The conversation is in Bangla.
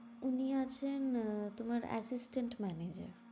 উনি আছেন আহ তোমার assistant manager